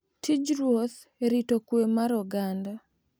Tij ruoth e rito kwe mar oganda,